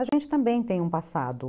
A gente também tem um passado.